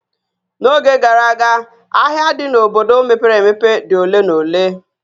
N'oge gara aga, ahịa dị n'obodo mepere emepe dị oke na ole